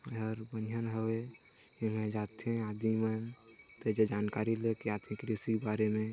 एहर बनहीन हवै इहंर जाथे आदमी मन ते ज जानकारी लेके आथे कृषि के बारे में।